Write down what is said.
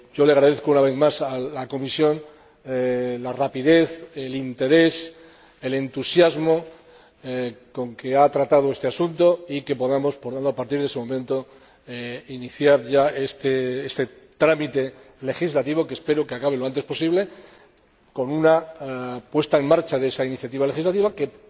Agradezco una vez más a la Comisión la rapidez, el interés y el entusiasmo con que ha tratado este asunto y el hecho de que podamos, por lo tanto, a partir de ese momento, iniciar ya este trámite legislativo que espero que acabe lo antes posible con una puesta en marcha de esa iniciativa legislativa que